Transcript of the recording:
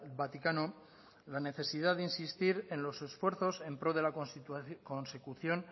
vaticano la necesidad de insistir en los esfuerzos en pro de la consecución